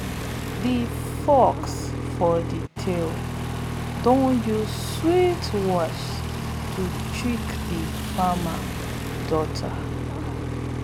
de fox for de tale don use sweet words to trick de farmer daughter